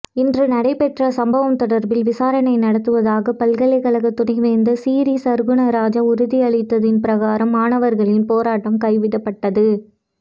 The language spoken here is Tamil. இன்று நடைபெற்ற சம்பவம் தொடர்பில் விசாரணை நடாத்துவதாக பல்கலைக்கழக துணைவேந்தர் சிறீசற்குணராஜா உறுதியளித்ததன் பிரகாரம் மாணவர்களின் போராட்டம் கைவிடப்பட்டது